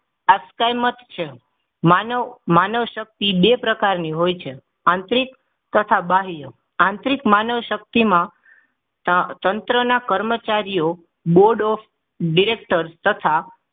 આસક્તમય છે માનવ માનવ શક્તિ બે પ્રકારની હોય છે આંતરિક તથા બાહ્ય આંતરિક માનવ શક્તિમાં તંત્રના કર્મચારીઓ Board of Directors તથા